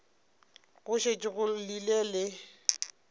go šetše go llile le